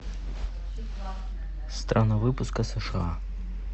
страна выпуска сша